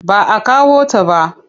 Ba a kawo ta ba.